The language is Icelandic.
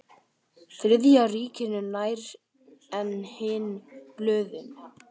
Þriðja ríkinu nær en hin blöðin.